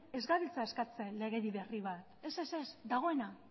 ez gabiltza eskatzen legedi berri bat ez ez ez dagoena